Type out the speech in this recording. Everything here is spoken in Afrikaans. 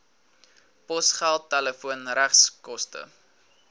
posgeld telefoon regskoste